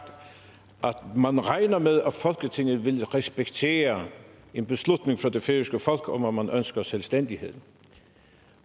man regner med at folketinget vil respektere en beslutning fra det færøske folk om at man ønsker selvstændighed